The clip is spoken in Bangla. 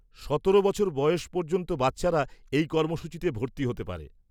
সতেরো বছর বয়স পর্যন্ত বাচ্চারা এই কর্মসূচীতে ভর্তি হতে পারে।